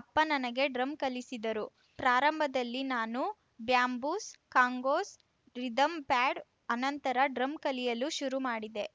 ಅಪ್ಪ ನನಗೆ ಡ್ರಮ್‌ ಕಲಿಸಿದರು ಪ್ರಾರಂಭದಲ್ಲಿ ನಾನು ಬ್ಯಾಂಬೂಸ್‌ ಕಾಂಗೋಸ್‌ ರಿಧಮ್‌ ಪ್ಯಾಡ್‌ ಆನಂತರ ಡ್ರಮ್‌ ಕಲಿಯಲು ಶುರುಮಾಡಿದೆ